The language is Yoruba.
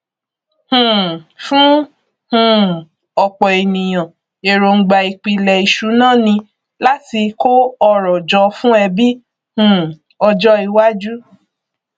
um fún um ọpọ ènìyàn èròngbà ìpìlẹ ìṣúná ni láti kó ọrọ jọ fún ẹbí um ọjọ iwájú